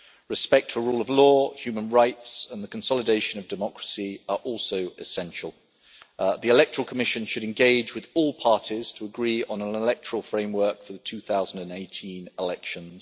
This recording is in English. Respect for the rule of law, human rights and the consolidation of democracy are also essential. The electoral commission should engage with all parties to agree on an electoral framework for the 2018 elections.